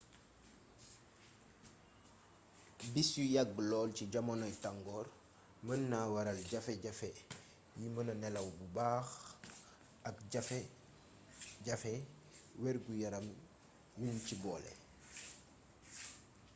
bis yu yàgg lool ci jamonoy tangoor mën naa waral jafe-jafe yi mëna nelaw bu baax ak jafe-jafey wergu-yaram yuñ ci boole